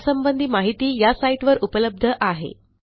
यासंबंधी माहिती या साईटवर उपलब्ध आहे